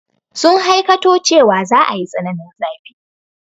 Sun hakaito cewa za a yi tsananin zafi.